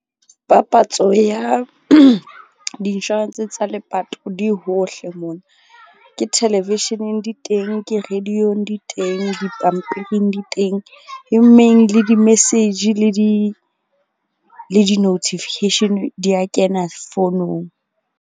Papatso ya di-insurance tsa lepato di hohle mona. Ke television-eng di teng. Ke radio-ng di teng. Dipampiring di teng e meng le di-message. Le di-notification di ya kena .